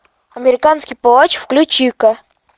американский палач включи ка